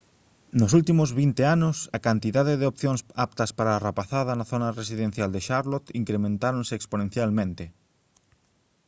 nos últimos 20 anos a cantidade de opcións aptas para a rapazada na zona residencial de charlotte incrementáronse exponencialmente